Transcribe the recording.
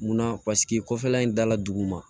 Munna paseke kɔfɛla in dala dugu ma